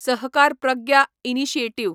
Sahakar Pragya initiative